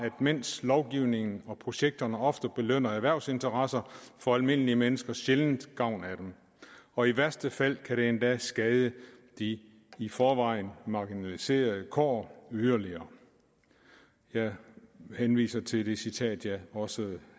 mens lovgivningen og projekterne ofte belønner erhvervsinteresser får almindelige mennesker sjældent gavn af dem og i værste fald kan det endda skade de i forvejen marginaliseredes kår yderligere jeg henviser til det citat jeg også